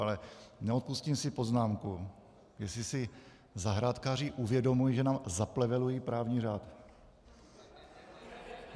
Ale neodpustím si poznámku, jestli si zahrádkáři uvědomují, že nám zaplevelují právní řád.